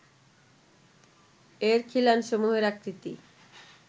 এর খিলানসমূহের আকৃতি